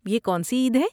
یہ کون سی عید ہے؟